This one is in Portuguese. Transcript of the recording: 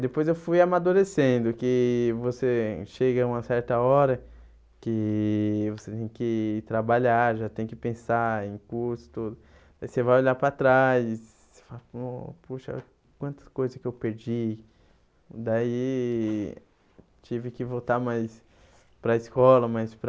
Depois eu fui amadurecendo, que você chega a uma certa hora que você tem que trabalhar, já tem que pensar em custo, aí você vai olhar para trás, fala puxa quantas coisas que eu perdi, daí tive que voltar mais para a escola, mais para.